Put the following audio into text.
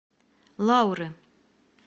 лауры